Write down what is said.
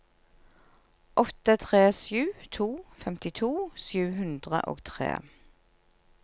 åtte tre sju to femtito sju hundre og tre